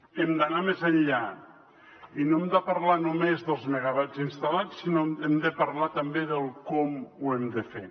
hem d’anar més enllà i no hem de parlar només dels megawatts instal·lats sinó que hem de parlar també del com ho hem de fer